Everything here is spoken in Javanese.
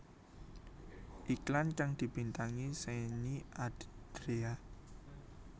Iklan kang dibintangi Shenny Andrea